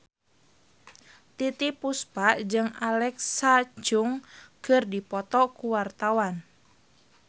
Titiek Puspa jeung Alexa Chung keur dipoto ku wartawan